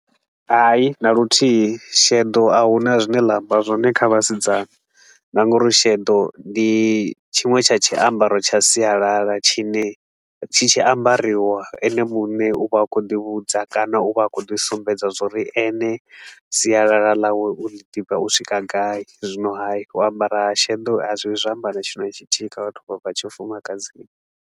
Hai, na luthihi sheḓo a huna zwine ḽa amba zwone kha vhasidzana na nga uri sheḓo ndi tshiṅwe tsha tshiambaro tsha sialala tshi ne tshi tshi ambariwa, ene muṋe u vha a khou ḓivhudza kana u vha a khou ḓi sumbedza zwa uri ene sialala ḽawe u ḽi ḓivha u swika gai. Zwino hai, u ambara ha sheḓo a zwi vhi zwa amba na tshithu na tshithihi kha vhathu vha tshifumakadzini.